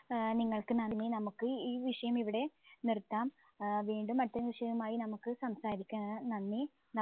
ഏർ നിങ്ങൾക്ക് നന്ദി നമ്മുക്ക് ഈ വിഷയം ഇവിടെ നിർത്താം ഏർ വീണ്ടും അടുത്ത വിഷയയുമായി നമ്മുക്ക് സംസാരിക്കാ നന്ദി